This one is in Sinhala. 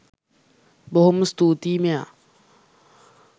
බොහොම ස්තූති මෙයා.